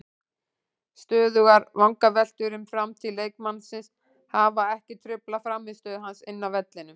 Stöðugar vangaveltur um framtíð leikmannsins hafa ekki truflað frammistöðu hans inni á vellinum.